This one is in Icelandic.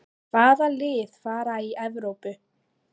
Hvaða lið fara í Evrópu?